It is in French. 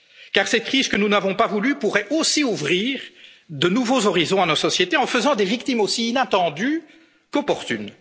s'y résout. Car cette crise que nous n'avons pas voulue pourrait aussi ouvrir des horizons nouveaux à nos sociétés, en faisant des victimes aussi inattendues qu'opportunes.